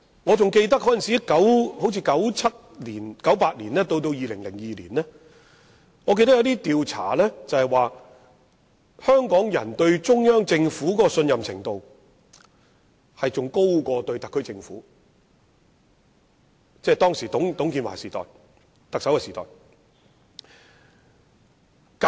我記得大概在1997年、1998年至2002年間，有調查指出，香港人對中央政府的信任程度較特區政府還要高，當時的特首是董建華。